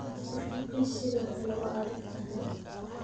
Boortaqiis sidoo kale waa adag tahay